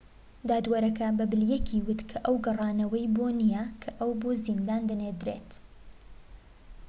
دادوەرەکە بە بلەیکی وت کە ئەوە گەڕانەوەی بۆ نیە کە ئەو بۆ زیندان دەنێردرێت